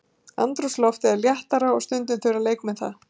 Andrúmsloftið er léttara og stundum þurfa leikmenn það.